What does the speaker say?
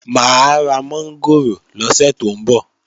Mà á ra mọ́ngòrò lọ́sẹ̀ tó ń bọ̀